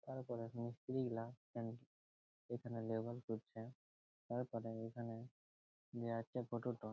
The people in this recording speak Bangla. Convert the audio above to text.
তারপরে মিস্ত্রি গুলা এখানে লেবেল করছে তারপরে এখানে যে আছে ফটো -ট --